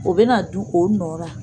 O bɛna na dun o nɔ ra.